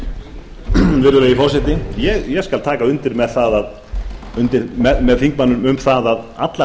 virðulegi forseti ég skal taka undir með þingmanninum um það að allar